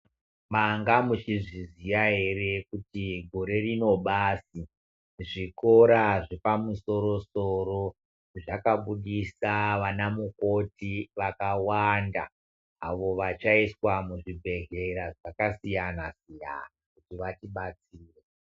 Manga muchizviziya here kuti gore rino basi zvikora zvepamusoro-soro zvakabudisa vanamukoti vakawanda, avo vachaiswa muzvibhehlera zvakasiyana-siyana.